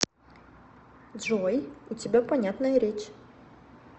джой у тебя понятная речь